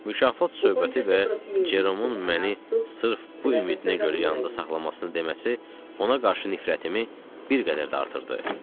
Mükafat söhbəti və Ceromun məni sırf bu ümidinə görə yanında saxlamasını deməsi ona qarşı nifrətimi bir qədər də artırdı.